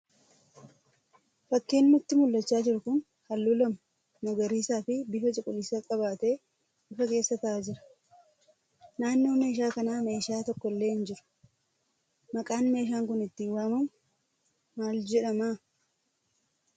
Fakkiin nutti mul'achaa jiru kun halluu lama nagariisaa fi bifa cuquliisaa qabatee ifa keessa ta'aa jira. Naannoo meeshaa kanaa meeshaa tokko illee hin jiru. maqaan meeshaa kun ittin waamamu maal jedhama?